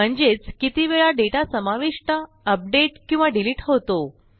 म्हणजेच कितीवेळा डेटा समाविष्ट अपडेट किंवा डिलिट होतो